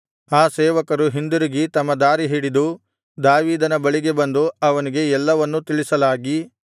ಆ ಸೇವಕರು ಹಿಂದಿರುಗಿ ತಮ್ಮ ದಾರಿ ಹಿಡಿದು ದಾವೀದನ ಬಳಿಗೆ ಬಂದು ಅವನಿಗೆ ಎಲ್ಲವನ್ನೂ ತಿಳಿಸಲಾಗಿ